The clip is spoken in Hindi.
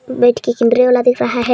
बैठ के केमरे मे देख रहा है।